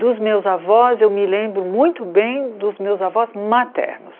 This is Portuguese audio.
Dos meus avós, eu me lembro muito bem dos meus avós maternos.